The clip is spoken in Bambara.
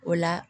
O la